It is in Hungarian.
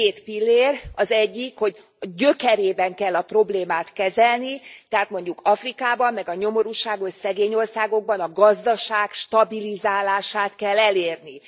Két pillér, az egyik, hogy gyökerében kell a problémát kezelni, tehát mondjuk Afrikában, meg a nyomorúságos szegény országokban, a gazdaság stabilizálását kell elérni.